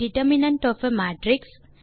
determinant of a matrix